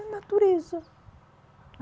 A natureza.